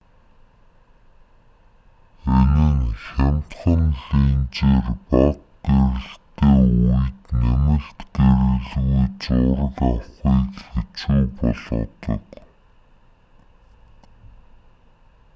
энэ нь хямдхан линзээр бага гэрэлтэй үед нэмэлт гэрэлгүй зураг авахыг хэцүү болгодог